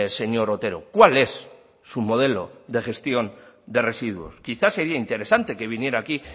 señor otero cuál es su modelo de gestión de residuos quizá sería interesante que viniera aquí